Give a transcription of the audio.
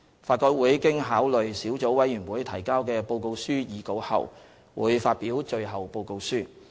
法改會經考慮小組委員會提交的報告書擬稿後，會發表最後報告書。